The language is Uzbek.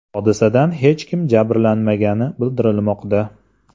Hodisada hech kim jabrlanmagani bildirilmoqda.